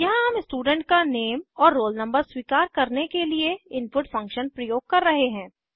यहाँ हम स्टूडेंट का नेम और रोल नंबर स्वीकार करने के लिए इनपुट फंक्शन प्रयोग कर रहे हैं